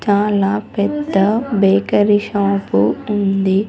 చాలా పెద్ద bakery shop ఉంది.